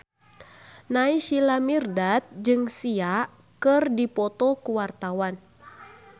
Naysila Mirdad jeung Sia keur dipoto ku wartawan